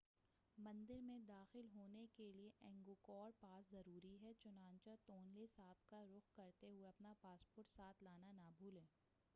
مندر میں داخل ہونے کے لئے اینگکور پاس ضروری ہے چنانچہ تونلے ساپ کا رخ کرتے ہوئے اپنا پاسپورٹ ساتھ لانا نہ بھولیں